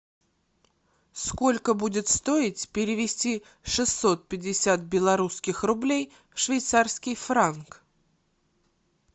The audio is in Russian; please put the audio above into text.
сколько будет стоить перевести шестьсот пятьдесят белорусских рублей в швейцарский франк